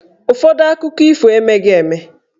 Ụfọdụ akụkọ ifo emeghị eme.